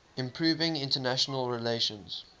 improving international relations